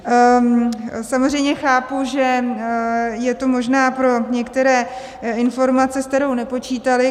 Samozřejmě chápu, že je to možná pro některé informace, s kterou nepočítali.